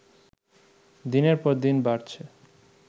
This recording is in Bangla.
দিনের পর দিন বাড়ছে